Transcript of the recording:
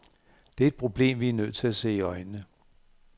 Det er et problem, vi er nødt til at se i øjnene.